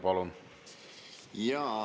Palun!